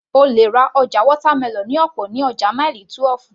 O lè ra watermelon ní ọ̀pọ̀ ní ọjà Mile 12